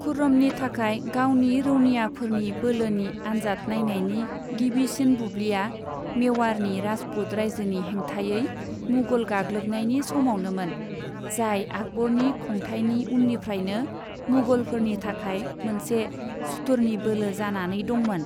खुर्रमनि थाखाय गावनि रौनियाफोरनि बोलोनि आनजाद नायनायनि गिबिसिन बुब्लिया मेवाड़नि राजपूत रायजोनि हेंथायै मुगल गाग्लोबनायनि समावनोमोन, जाय आकबरनि खुंथायनि उननिफ्रायनो मुगलफोरनि थाखाय मोनसे सुथुरनि बोलो जानानै दंमोन।